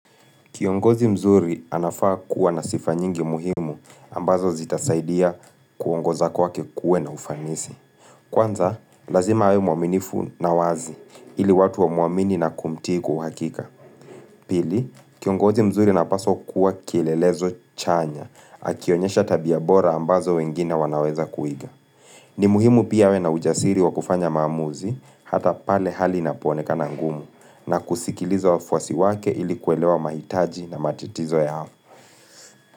Kiongozi mzuri anafaa kuwa na sifa nyingi muhimu ambazo zitasaidia kuongoza kwa kwake kuwe na ufanisi. Kwanza, lazima awe mwaminifu na wazi ili watu wamuamini na kumtiku hakika. Pili, kiongozi mzuri apaswa kuwa kielelezo chanya, akionyesha tabia ya bora ambazo wengine wanaweza kuiga. Ni muhimu pia we na ujasiri wa kufanya maamuzi hata pale hali inaponeka na ngumu na kusikiliza wa fwasi wake ili kuelewa mahitaji na matitizo ya hafa.